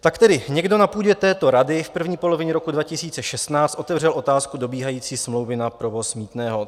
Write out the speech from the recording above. Tak tedy někdo na půdě této rady v první polovině roku 2016 otevřel otázku dobíhající smlouvy na provoz mýtného.